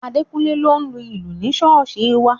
Adekunle ló ń lu ìlù ní ṣọ́ọ̀ṣì wa